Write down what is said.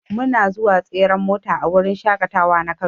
Muna zuwa tseren mota a wurin shaƙatawa na kano.